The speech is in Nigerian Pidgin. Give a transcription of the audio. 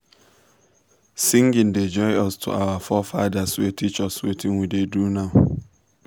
singing da join us to our forefathers wey teach us wetin we da do now